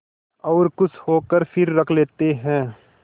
और खुश होकर फिर रख लेते हैं